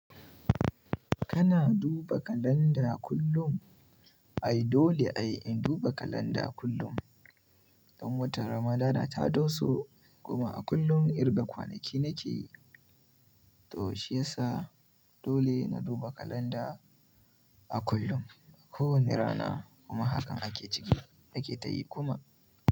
Kana duba kalanda kullum? Ai dole ai in duba kalanda kullum. Don wata ramadana ta doso kuma a kullum irga kwanaki nake yi to shiyasa dole na duba kalanda a kullum. Ko wani rana kuma hakan ake ciki nake tayi kuma.